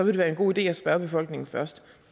det være en god idé at spørge befolkningen først